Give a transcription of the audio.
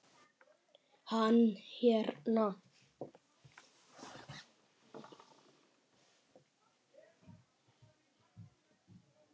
Hann hérna.